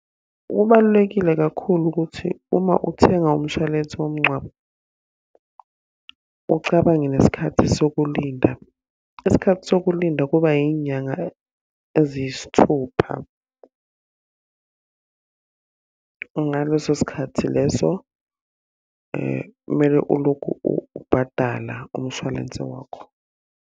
Kubalulekile kakhulu ukuthi uma uthenga umshwalense womngcwabo, ucabange nesikhathi sokulinda. Isikhathi sokulinda kuba yinyanga eziyisithupha. Ngaleso sikhathi leso, kumele ulokhu ubhadala umshwalense wakho.